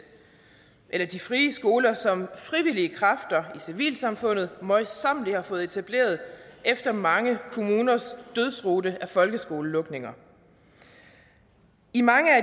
eller de frie skoler som frivillige kræfter i civilsamfundet møjsommeligt har fået etableret efter mange kommuners dødsrute af folkeskolelukninger i mange af